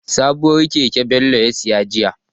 Sabuwar keke Bello ya saya jiya.